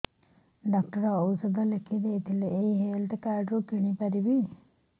doctor ଔଷଧ ଲେଖିଦେଇଥିଲେ ଏଇ ହେଲ୍ଥ କାର୍ଡ ରେ କିଣିପାରିବି